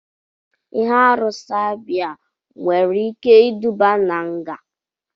Ihe arụ caiba nwere ike iduba na nga.